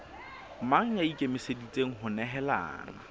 mang ya ikemiseditseng ho nehelana